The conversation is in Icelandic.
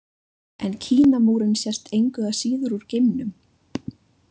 En Kínamúrinn sést engu að síður úr geimnum.